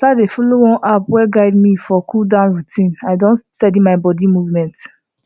as i start dey follow one app wey guide me for cooldown routine i don steady my body movement